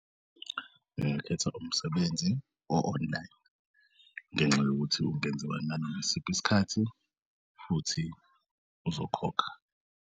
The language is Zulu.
Ngingakhetha umsebenzi o-online ngenxa yokuthi ungenziwa nanoma yisiphi isikhathi futhi uzokhokha.